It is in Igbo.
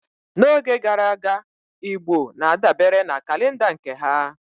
N'oge gara aga, Igbo na-adabere na kalenda nke ha